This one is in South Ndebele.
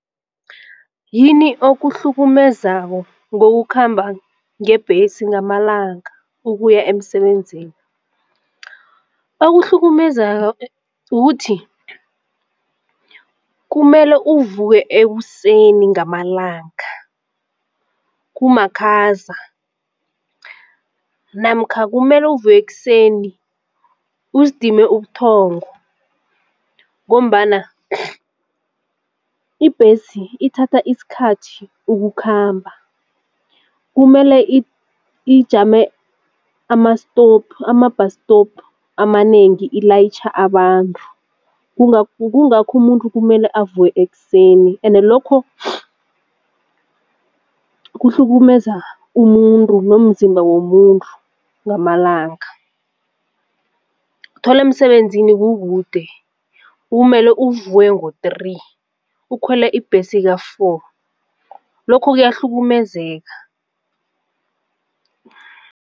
Yini okuhlukumezako ngokukhamba ngebhesi ngamalanga ukuya emsebenzini? Okuhlukumeza ukuthi kumele uvuke ekuseni ngamalanga kumakhaza namkha kumele uvuke ekuseni uzidime ubuthongo ngombana ibhesi ithatha isikhathi ukukhamba. Kumele ijame ama-stop ama-bus stop amanengi ilayitjha abantu kungakho umuntu kumele avuke ekuseni ende lokho kuhlukumeza umuntu nomzimba womuntu ngamalanga. Uthola emsebenzini kukude kumele uvuke ngo-three ukhwele ibhesi ka-four lokho kuyahlukumezeka.